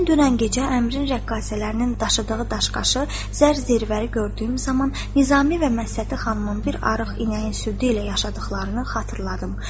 Mən dünən gecə Əmrin rəqqasələrinin dağıtdığı daşqaşı zər zirvəri gördüyüm zaman Nizami və Məsəti xanımın bir arıq inəyin südü ilə yaşadıqlarını xatırladım.